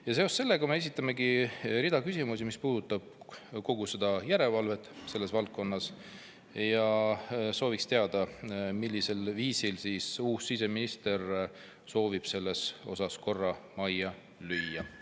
Ja seoses sellega me esitamegi rida küsimusi, mis puudutab kogu seda järelevalvet selles valdkonnas, ja sooviks teada, millisel viisil siis uus siseminister soovib selles osas korra majja lüüa.